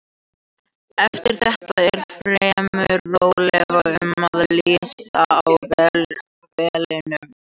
Eftir þetta er fremur rólegt um að litast á vellinum.